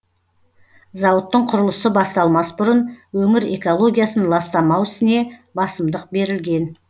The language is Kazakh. зауыттың құрылысы басталмас бұрын өңір экологиясын ластамау ісіне басымдық берілген